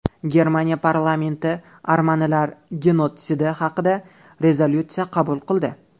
Germaniya parlamenti armanilar genotsidi haqida rezolyutsiya qabul qildi.